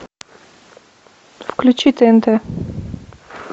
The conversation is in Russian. включи тнт